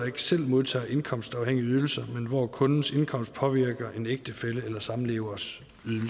ikke selv modtager indkomstafhængige ydelser men hvor kundens indkomst påvirker en ægtefælles eller samlevers